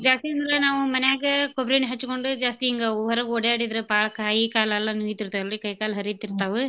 ಜಾಸ್ತಿ ಅಂದ್ರ ನಾವು ಮಾನ್ಯಾಗ್ ಕೊಬ್ರೀ ಎಣ್ಣಿ ಹಚ್ಗೊಂಡು ಜಾಸ್ತಿ ಹಿಂಗ್ ಹೊರಗ್ ಓಡಾಡಿದ್ರ ಬಾಳ್ ಕೈ ಕಾಲ್ ಎಲ್ಲಾ ನೋಯಿತಿರ್ತಾವಲ್ರೀ ಕೈ ಕಾಲ್ ಹರೀತಿರ್ತಾವು.